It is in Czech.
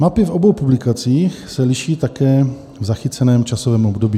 Mapy v obou publikacích se liší také v zachyceném časovém období.